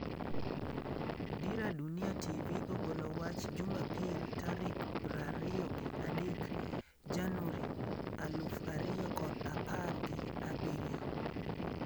Dira Dunia TV ogolo wach jumapil tarik prariyogi adek Januri aluf ariyo kod apar gi abirio